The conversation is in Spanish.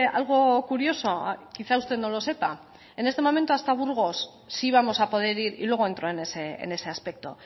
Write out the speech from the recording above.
algo curioso quizá usted no lo sepa en este momento hasta burgos sí vamos a poder ir y luego entro en ese aspecto